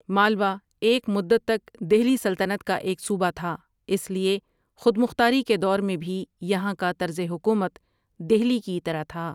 مالوہ ایک مدت تک دہلی سلطنت کا ایک صوبہ تھا اس لیے خود مختاری کے دور میں بھی یہاں کا طرز حکومت دہلی کی طرح تھا۔